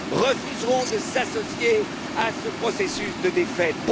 refuseront de s'associer à ce processus de défaite.